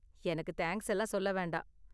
எனக்கு தேங்க்ஸ் எல்லாம் சொல்ல வேண்டாம்.